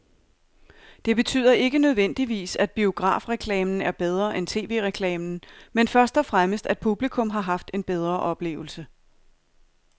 Det betyder ikke nødvendigvis, at biografreklamen er bedre end tv-reklamen, men først og fremmest at publikum har haft en bedre oplevelse.